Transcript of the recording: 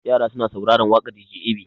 Yara suna sauraren waƙar dj ab.